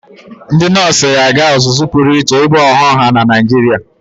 Ndị nọọsụ ga-aga ọzụzụ pụrụ iche ibu ọghọnwa na Naịjirịa.